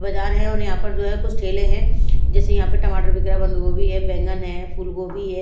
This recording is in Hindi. बाजार है और यहां पर जो है कुछ ठेले हैं जैसे यहाँ पर टमाटर बिक रहा बंद गोभी है बैंगन है फूल गोभी है।